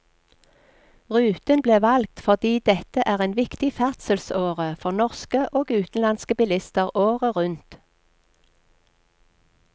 Ruten ble valgt fordi dette er en viktig ferdselsåre for norske og utenlandske bilister året rundt.